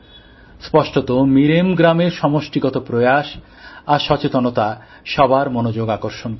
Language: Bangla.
স্পষ্টত মিরেম গ্রামের সমষ্টিগত প্রয়াস আর সচেতনতা সবার মনোযোগ আকর্ষণ করে